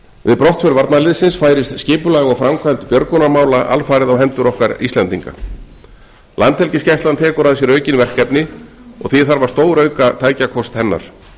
við brottför varnarliðsins færist skipulag og framkvæmd björgunarmála alfarið á hendur okkar íslendinga landhelgisgæslan tekur að sér aukin verkefni og því þarf að stórauka tækjakost hennar